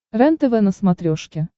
рентв на смотрешке